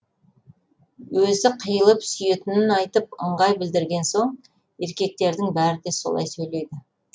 өзі қиылып сүйетінін айтып ыңғай білдірген соң еркектердің бәрі де солай сөйлейді